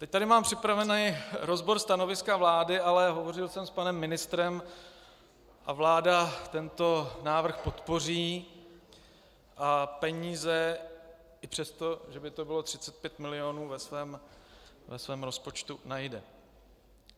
Teď tady mám připravený rozbor stanoviska vlády, ale hovořil jsem s panem ministrem a vláda tento návrh podpoří a peníze i přesto, že by to bylo 35 mil., ve svém rozpočtu najde.